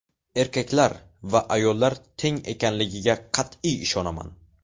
Erkaklar va ayollar teng ekanligiga qat’iy ishonaman.